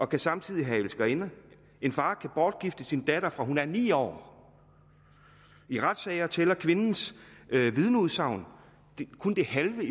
kan samtidig have elskerinder en far kan bortgifte sin datter fra hun er ni år i retssager tæller kvindens vidneudsagn kun det halve af